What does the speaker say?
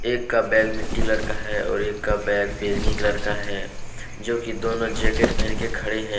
एक का बैग मिट्टी कलर का है और एक का बैग बैंगनी कलर का है जो कि दोनों जैकेट पहन के खड़े हैं।